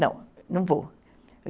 Não, não vou.